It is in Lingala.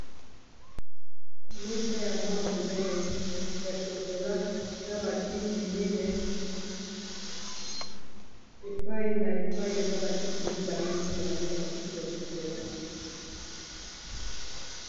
Mesa ya mwa monene ya chokola na ba kiti mineyi epai na epai eza bakiti mibale mibale bakiti ya chocolat.